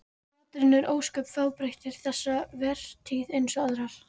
Maturinn var ósköp fábreyttur þessa vertíð eins og aðrar.